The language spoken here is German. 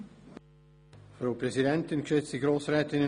Herr Regierungsrat Käser, Sie haben das Wort.